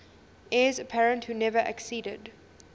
heirs apparent who never acceded